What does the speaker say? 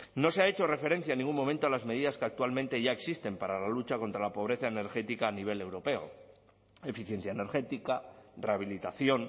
no se ha hecho referencia en ningún momento a las medidas que actualmente ya existen para la lucha contra la pobreza energética a nivel europeo eficiencia energética rehabilitación